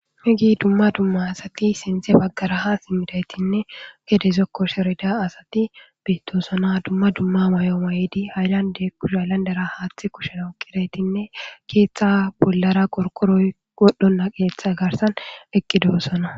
Heege dumma dumma asati sinthe baggara simmidaytinne gede zokko zaarida asati beettosona. Dumma dumma mayo mayidi hayillande kushe hayllandera haaththi kushena oyiqqidaytinne keeththa bollara qorkoroy wodhdhonna qeeththa garsan eqqidoosona.